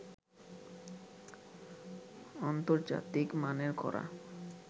আন্তর্জাতিক মানের করা